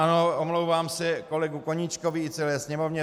Ano, omlouvám se kolegovi Koníčkovi i celé Sněmovně.